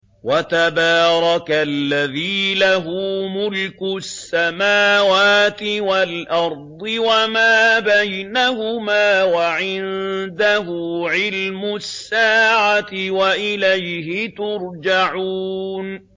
وَتَبَارَكَ الَّذِي لَهُ مُلْكُ السَّمَاوَاتِ وَالْأَرْضِ وَمَا بَيْنَهُمَا وَعِندَهُ عِلْمُ السَّاعَةِ وَإِلَيْهِ تُرْجَعُونَ